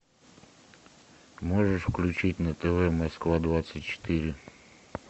можешь включить на тв москва двадцать четыре